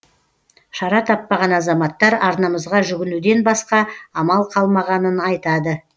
шара таппаған азаматтар арнамызға жүгінуден басқа амал қалмағанын айтады